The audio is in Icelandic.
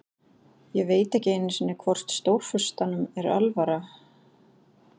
Ég veit ekki einu sinni hvort Stórfurstanum er alvara.